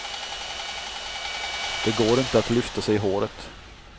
Det går inte att lyfta sig i håret.